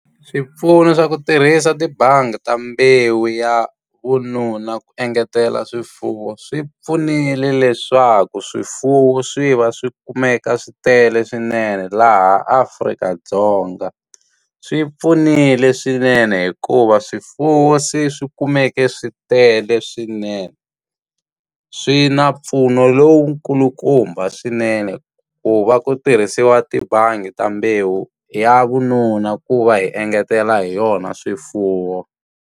Swipfuno swa ku tirhisa tibangi ta mbewu ya vununa ku engetela swifuwo, swi pfunile leswaku swifuwo swi va swi kumeka swi tele swinene laha Afrika-Dzonga. Swi pfunile swinene hikuva swifuwo se swi kumeke swi tele swinene. Swi na mpfuno lowu kulukumba swinene ku va ku tirhisiwa tibangi ta mbewu ya vununa ku va hi engetela hi yona swifuwo.